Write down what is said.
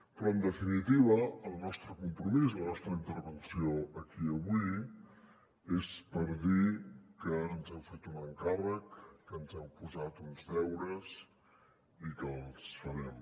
però en definitiva el nostre compromís la nostra intervenció aquí avui és per dir que ens heu fet un encàrrec que ens heu posat uns deures i que els farem